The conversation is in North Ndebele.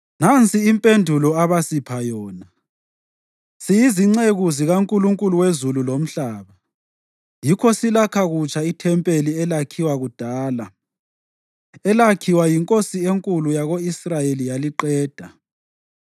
Nansi impendulo abasipha yona: “Siyizinceku zikaNkulunkulu wezulu lomhlaba, yikho silakha kutsha ithempeli elakhiwa kudala, elakhiwa yinkosi enkulu yako-Israyeli yaliqeda.